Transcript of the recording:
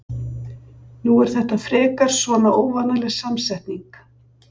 Nú er þetta frekar svona óvanaleg samsetning?